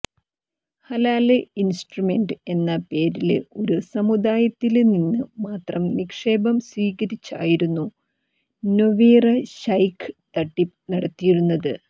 halal investment എന്ന പേരില് ഒരു സമുദായത്തില് നിന്ന് മാത്രം നിക്ഷേപം സ്വീകരിച്ചായിരുന്നു നൊവേറ ശൈഖ് തട്ടിപ്പ് നടത്തിയിരുന്നത്